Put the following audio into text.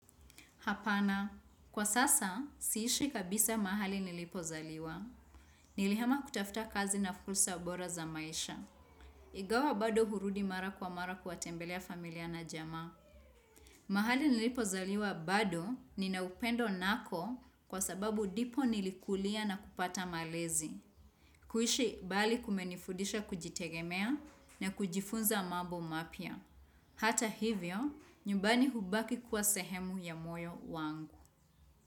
Hapana, kwa sasa, siishi kabisa mahali nilipozaliwa. Nilihama kutafuta kazi na fursa bora za maisha. Ingawa bado hurudi mara kwa mara kuwatembelea familia na jamaa. Mahali nilipozaliwa bado, nina upendo nako kwa sababu ndipo nilikulia na kupata malezi. Kuishi mbali kumenifudisha kujitegemea na kujifunza mambo mapya. Hata hivyo, nyumbani hubaki kuwa sehemu ya moyo wangu.